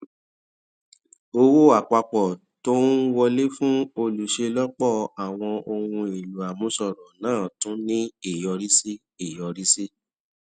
owó àpapọ tó ń wọlé fún olùṣelọpọ àwọn ohun èlò àmúṣọrò náà tún ní ìyọrísí ìyọrísí